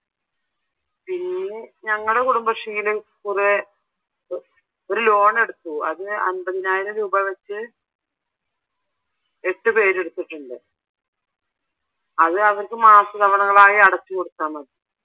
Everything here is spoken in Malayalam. പിന്നെ ഞങ്ങടെ കുടുംബശ്രീയിൽ കുറെ ഇപ്പൊ ഒരു ലോൺ എടുത്തു അത് അൻപതിനായിരം രൂപാ വെച്ച് എട്ട് പേര് എടുത്തിട്ടുണ്ട് അത് അവർക്ക് മാസതവണകൾ ആയി അടച്ചുകൊടുത്താൽ മതി.